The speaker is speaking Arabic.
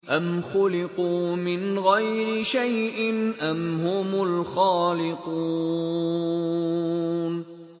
أَمْ خُلِقُوا مِنْ غَيْرِ شَيْءٍ أَمْ هُمُ الْخَالِقُونَ